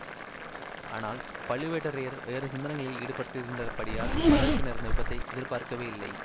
ஆனால் பழுவேட்டரையர் வேறு சிந்தனைகளில் ஈடுபட்டிருந்தபடியால் படகுக்கு நேர்ந்த விபத்தை எதிர்பார்க்கவே இல்லை